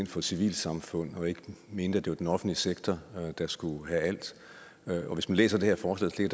for civilsamfund og ikke mener at det er den offentlige sektor der skal gøre alt hvis man læser det her forslag ser